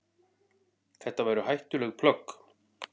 Þetta væru hættuleg plögg.